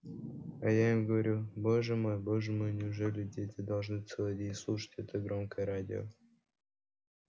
а я им говорю боже мой боже мой неужели дети должны целый день слушать это громкое радио